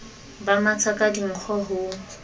ba matha ka dinkgo ho